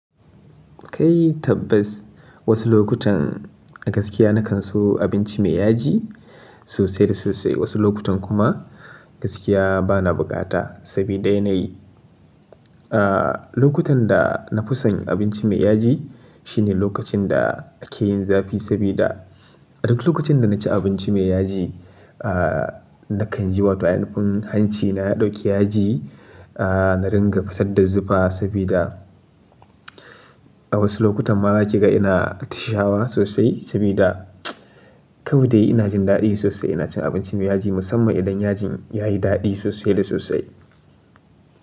Kai tabbas wasu lokutan a gaskiya na kan so abinci mai yaji sosai da sosai. Wasu lokutan kuma gaskiya bana bukata sabida yanayi lokutan da na fi san abinci mai yaji shine lokacin da ake yin zafi sabida duk lokacin da na ci abinci mai yaji na kan ji hanci na dauke yaji na ringa fitar da zufa sabida a wasu lokutan ma kiga ina tushawa sosai sabida kawai dai ina jin daɗi sosai ina cin abinci mai yaji musamman idan yajin yayi daɗi sosai da sosai.